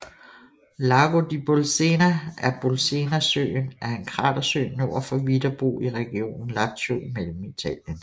Lago di Bolsena eller Bolsenasøen er en kratersø nord for Viterbo i regionen Lazio i Mellemitalien